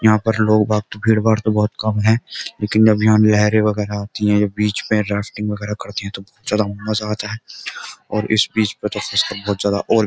यहां पर लोग भाग भीड़-भाड़ तो बहुत कम है लेकिन जब यहां लहरें वगैरह आती है जो बीच में राफ्टिंग वगैरह करते हैं तो बहुत ज्यादा मजा आता है और इस बीच पर तो फंस का बहुत ज्यादा और --